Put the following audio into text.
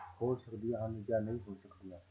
ਹੋ ਸਕਦੀਆਂ ਹਨ ਜਾਂ ਨਹੀਂ ਹੋ ਸਕਦੀਆਂ।